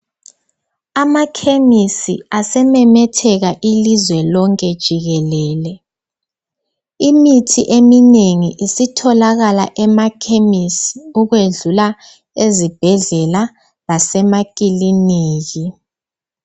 Amakemisi asememeteka ilizwe lonke jikelele. Imithi eminengi isitholakala emakemisi ukwedlula ezibhedlela lasemakiliniki.